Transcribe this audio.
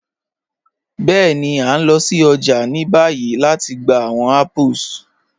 Bẹẹ̀ni, a n lọ sí ọjà ni báyì lati gbà awọn apples.